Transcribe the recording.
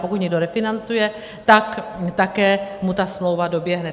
Pokud někdo refinancuje, tak také mu ta smlouva doběhne.